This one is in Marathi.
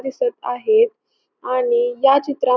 दिसत आहेत आणि या चित्रात --